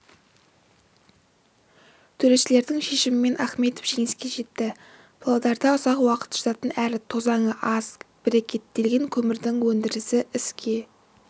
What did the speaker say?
төрешілердің шешімімен ахмедов жеңіске жетті павлодарда ұзақ уақыт жанатын әрі тозаңы аз брикеттелген көмірдің өндірісі іске